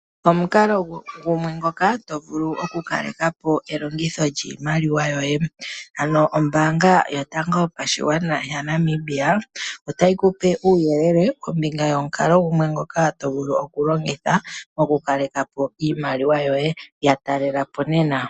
Omukala gumwe ngoka to vulu oku kalekapo elongitho lyiimaliwa